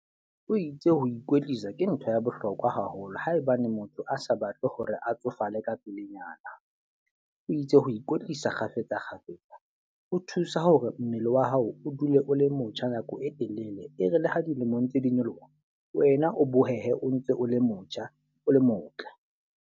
O itse ho ikwetlisa ke ntho ya bohlokwa haholo. Haebane motho a sa batle hore a tsofala ka pelenyana. O itse ho ikwetlisa kgafetsa kgafetsa ho thusa hore mmele wa hao o dule o le motjha nako e telele. E re le ha dilemo ntse di nyoloha, wena o bohehe o ntse o le motjha o le motle.